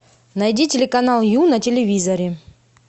найди телеканал ю на телевизоре